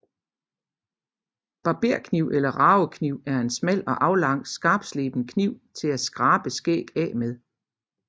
Barberkniv eller ragekniv er en smal og aflang skarpsleben kniv til at skrabe skæg af med